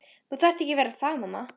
Þú þarft ekki að vera það mamma.